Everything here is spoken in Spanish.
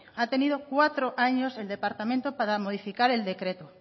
ha tenido cuatro años el departamento para modificar el decreto